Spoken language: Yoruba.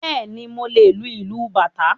Bẹ́ẹ̀ni, mo lè lu ìlú bàtá